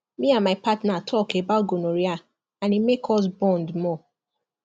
me and my partner talk about gonorrhea and e make us bond more